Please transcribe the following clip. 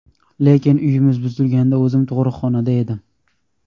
Lekin uyimiz buzilganda o‘zim tug‘ruqxonada edim.